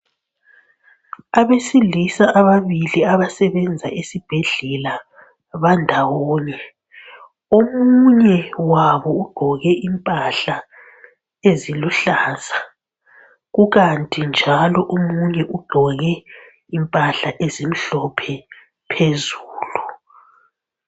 Abesilisa ababili abasebenza esibhedlela bandawonye ,omunye wabo ugqoke impahla eziluhlaza kukanti njalo omunye ugqoke impahla ezimhlophe phezulu.